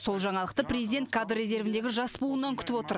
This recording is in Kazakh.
сол жаңалықты президент кадр резервіндегі жас буыннан күтіп отыр